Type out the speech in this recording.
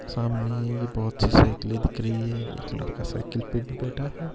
सामने ये बहुत सी साइकिलें दिख रही है एक लड़का साइकिल पे भी बैठा है।